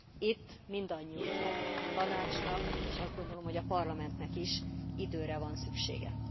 Itt mindannyiunknak, a Tanácsnak, és azt gondolom, hogy a Parlamentnek is időre van szüksége.